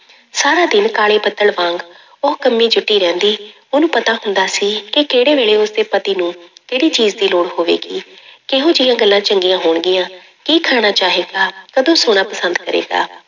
ਸਾਰਾ ਦਿਨ ਕਾਲੇ ਬੱਦਲ ਵਾਂਗ ਉਹ ਕੰਮੀ ਜੁਟੀ ਰਹਿੰਦੀ, ਉਹਨੂੰ ਪਤਾ ਹੁੰਦਾ ਸੀ ਕਿ ਕਿਹੜੇ ਵੇਲੇ ਉਸਦੇ ਪਤੀ ਨੂੰ ਕਿਹੜੀ ਚੀਜ਼ ਦੀ ਲੋੜ ਹੋਵੇਗੀ ਕਿਹੋ ਜਿਹੀਆਂ ਗੱਲਾਂ ਚੰਗੀਆਂ ਹੋਣਗੀਆਂ, ਕੀ ਖਾਣਾ ਚਾਹੇਗਾ, ਕਦੋਂ ਸੌਣਾ ਪਸੰਦ ਕਰੇਗਾ।